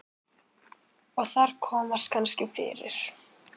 Og þar komast kannski fyrir